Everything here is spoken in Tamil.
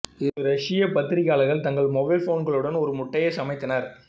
இரு ரஷ்ய பத்திரிகையாளர்கள் தங்கள் மொபைல் ஃபோன்களுடன் ஒரு முட்டை சமைத்தனர்